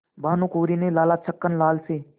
भानकुँवरि ने लाला छक्कन लाल से